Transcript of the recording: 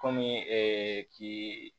Kɔmi ke